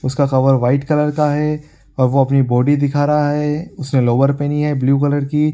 उसका cover white colour का है और वो अपनी बॉडी दिखा रहा है उसने लोअर पहनी है ब्लू कलर की।